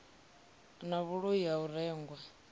na vhuloi ha u rengwa